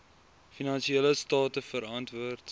finansiële state verantwoord